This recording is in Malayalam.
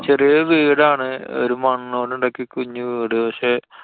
ചെറിയ വീടാണ്. ഒരു മണ്ണോണ്ട് ഉണ്ടാക്കിയ കുഞ്ഞു വീട്. പക്ഷെ